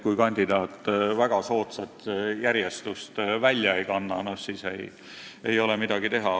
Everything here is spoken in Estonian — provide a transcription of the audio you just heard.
Kui kandidaat väga soodsat järjestust välja ei kanna, siis ei ole midagi teha.